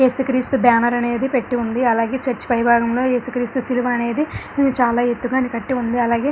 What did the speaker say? ఏసుక్రీస్తు banner అనేది పెట్టి ఉంది అలాగే చర్చ్ పై భాగం లో ఏసుక్రీస్తు సిలువ అనేది చాలా ఎత్తుగా ని కట్టి ఉంది అలాగే--